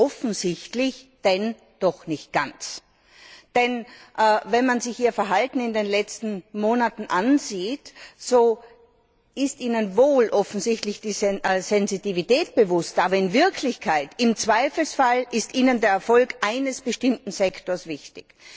Offensichtlich denn doch nicht ganz! Denn, wenn man sich Ihr Verhalten in den letzten Monaten ansieht, so ist Ihnen wohl offensichtlich die Sensibilität bewusst, aber in Wirklichkeit ist Ihnen der Erfolg eines bestimmten Sektors wichtig.